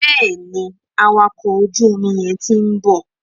Bẹ́ẹ̀ni, awakọ̀ ojú omi yẹn ti ń bọ̀.